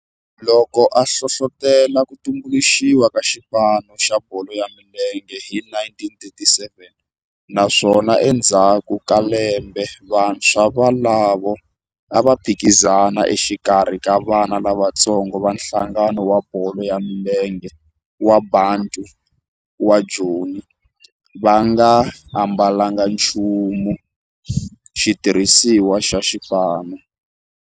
Loko a hlohlotela ku tumbuluxiwa ka xipano xa bolo ya milenge hi 1937 naswona endzhaku ka lembe vantshwa volavo a va phikizana exikarhi ka vana lavatsongo va nhlangano wa bolo ya milenge wa Bantu wa Joni va nga ambalanga nchumu naswona va nga ambalanga nchumu xitirhisiwa xa xipano.